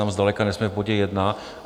Tam zdaleka nejsme v bodě jedna.